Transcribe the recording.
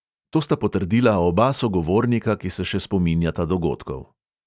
To sta potrdila oba sogovornika, ki se še spominjata dogodkov.